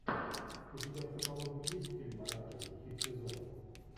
у тебя в каталоге есть фильм оранжевый хит сезона